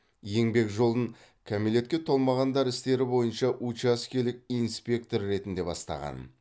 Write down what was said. еңбек жолын кәмелетке толмағандар істері бойынша учаскелік инспектор ретінде бастаған